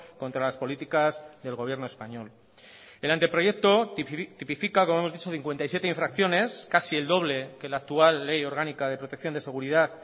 contra las políticas del gobierno español el anteproyecto tipifica como hemos dicho cincuenta y siete infracciones casi el doble que la actual ley orgánica de protección de seguridad